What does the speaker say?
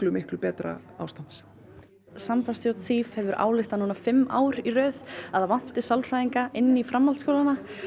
miklu betra ástands sambandsstjórn hefur ályktað fimm ár í röð að það vanti sálfræðinga inn í framhaldsskólana